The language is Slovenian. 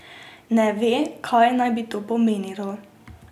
Ne ve, kaj naj bi to pomenilo.